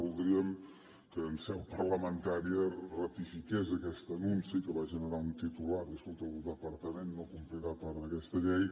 voldríem que en seu parlamentària ratifiqués aquest anunci que va generar un titular escolta el departament no complirà part d’aquesta llei